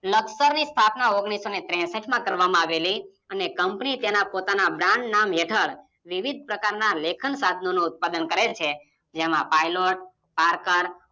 લકસરની સ્થાપના ઓગણીસોને ત્રેસઠમાં કરવામાં આવેલી, અને કંપની પોતાના Brand નામ હેઠળ વિવિધ પ્રકારના લેખન સાધનોનો ઉત્પાદન કરે છે. જેમાં પાયલોટ, પાર્કર